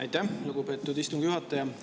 Aitäh, lugupeetud istungi juhataja!